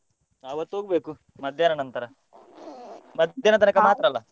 ಆವತ್ತು ಹೋಗ್ಬೇಕು ಮಧ್ಯಾಹ್ನ ನಂತರ ಮಧ್ಯಾಹ್ನ ಮಾತ್ರ ಅಲ್ಲ.